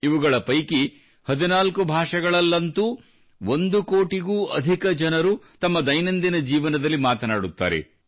ಇವುಗಳ ಪೈಕಿ 14 ಭಾಷೆಗಳಲ್ಲಂತೂ ಒಂದು ಕೋಟಿಗೂ ಅಧಿಕ ಜನರು ತಮ್ಮ ದೈನಂದಿನ ಜೀವನದಲ್ಲಿ ಮಾತನಾಡುತ್ತಾರೆ